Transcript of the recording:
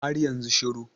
har yanzu shiru